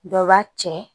Dɔ b'a cɛ